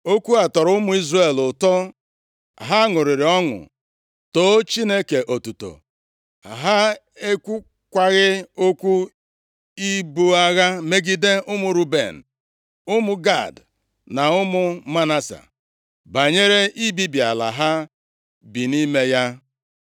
Okwu a tọrọ ụmụ Izrel ụtọ. Ha ṅụrịrị ọṅụ, too Chineke otuto. Ha ekwukwaghị okwu ibu agha megide ụmụ Ruben, ụmụ Gad na ụmụ Manase, banyere ibibi ala ha bi nʼime ya.